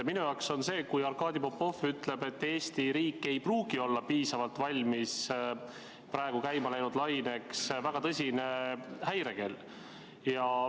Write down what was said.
Minu jaoks on see, kui Arkadi Popov ütleb, et Eesti riik ei pruugi olla piisavalt valmis praegu käima läinud laineks, väga tõsine häirekell.